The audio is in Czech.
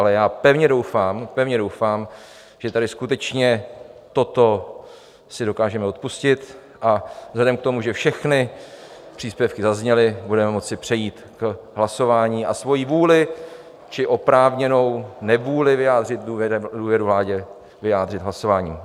Ale já pevně doufám, pevně doufám, že tady skutečně toto si dokážeme odpustit, a vzhledem k tomu, že všechny příspěvky zazněly, budeme moci přejít k hlasování a svoji vůli či oprávněnou nevůli vyjádřit důvěru vládě, vyjádřit hlasováním.